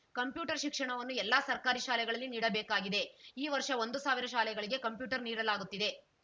computer ಶಿಕ್ಷಣವನ್ನು ಎಲ್ಲಾ ಸರ್ಕಾರಿ ಶಾಲೆಗಳಲ್ಲಿ ನೀಡಬೇಕಾಗಿದೆ ಈ ವರ್ಷ ಒಂದು ಸಾವಿರ ಶಾಲೆಗಳಿಗೆ ಕಂಪ್ಯೂಟರ್‌ ನೀಡಲಾಗುತ್ತಿದೆ